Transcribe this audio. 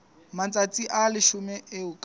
matsatsi a leshome eo ka